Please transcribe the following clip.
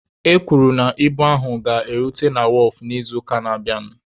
E kwuru na ibu ahụ ga-erute na wọọfụ n'izuụka na-abịanụ.